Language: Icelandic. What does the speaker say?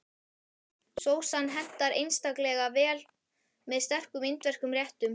Sósan hentar einstaklega vel með sterkum indverskum réttum.